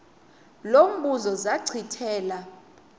lo mbuzo zachithela